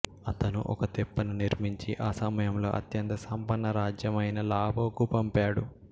అతను ఒక తెప్పను నిర్మించి ఆ సమయంలో అత్యంత సంపన్న రాజ్యం అయిన లావోకు పంపాడు